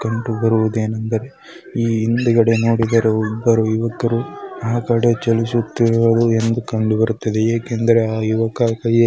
ಕಂಡುಬರುವುದು ಏನಂದ್ರೆ ಈ ಹಿಂದುಗಡೆ ನೋಡಿದ್ರೆ ಇಬ್ಬರು ಯುವಕರು ಆ ಕಡೆ ಚಲಿಸುತ್ತಿರುವುದು ಎಂದು ಕಂಡುಬರುತ್ತದೆ ಏಕೆಂದರೆ ಆ ಯುವಕ __